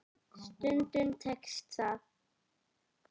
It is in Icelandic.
Stundum tekst það.